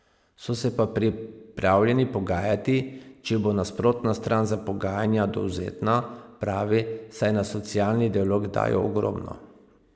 So se pa pripravljeni pogajati, če bo nasprotna stran za pogajanja dovzetna, pravi, saj na socialni dialog dajo ogromno.